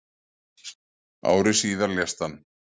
ári síðar lést hann